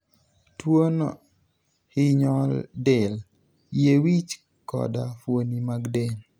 Tuwono hinyo del, yie wich, koda fuoni mag del.